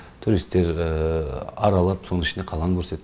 туристер аралап соның ішінде қаланы көрсет